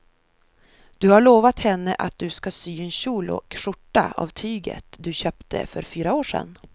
Du har lovat henne att du ska sy en kjol och skjorta av tyget du köpte för fyra år sedan.